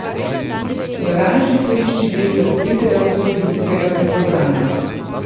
V garaži poišči del razbitega avtomobilskega vetrobrana.